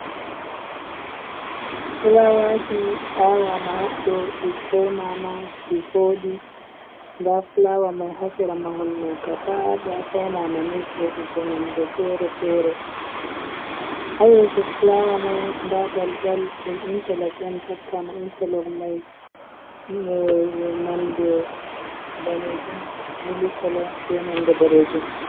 Fulawaji awama haɗɗo di faunama ɗi vodi da fulawa mai ha sera mahol ɗo gabadaya faunama ni vodugo nonɗe fere-fere ha yeso fulawa mai da daldal ɗum interlok on takkama interlok mai nonɗe damejum, milikulo, be nonɗe bodejum.